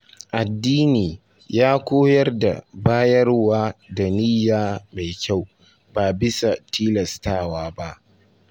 Addini ya koyar da bayarwa da niyya mai kyau, ba bisa tilastawa ba.